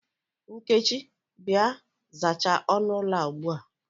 Nkechi, Bịa, zachaa ọnụ ụlọ a ugbua!